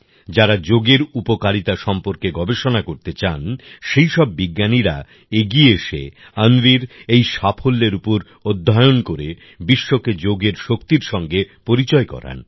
যারা যোগের উপকারিতা সম্পর্কে গবেষণা করতে চান সেই সব বিজ্ঞানীরা এগিয়ে এসে অন্বির এই সাফল্যের উপর অধ্যয়ন করে বিশ্বকে যোগের শক্তির সঙ্গে পরিচয় করান